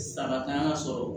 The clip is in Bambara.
Sara tan y'a sɔrɔ